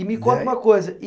E me conta uma coisa.